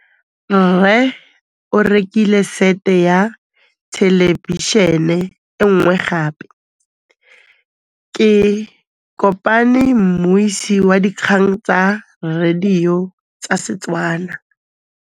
Rre o rekile sete ya thêlêbišênê e nngwe gape. Ke kopane mmuisi w dikgang tsa radio tsa Setswana.